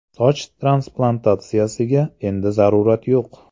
Soch transplantatsiyasiga endi zarurat yo‘q!.